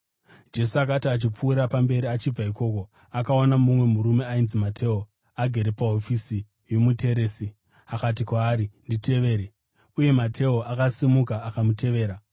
Jesu akati achipfuurira mberi achibva ikoko, akaona mumwe murume ainzi Mateo agere pahofisi yomuteresi. Akati kwaari, “Nditevere,” uye Mateo akasimuka akamutevera.